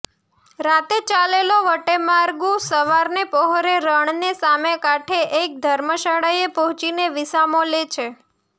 રાતે ચાલેલો વટેમાર્ગુ સવારને પહોરે રણને સામે કાંઠે એક ધર્મશાળાએ પહોંચીને વિસામો લે છે